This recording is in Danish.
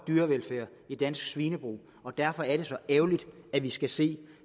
dyrevelfærd i dansk svinebrug og derfor er det så ærgerligt at vi skal se